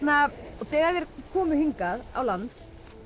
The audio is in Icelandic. þegar þeir komu hingað á land